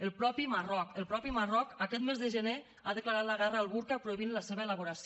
el mateix marroc el mateix marroc aquest mes de gener ha declarat la guerra al burca prohibint la seva elaboració